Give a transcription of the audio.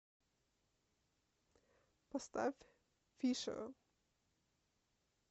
поставь фишер